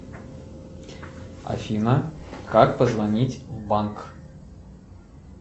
афина как позвонить в банк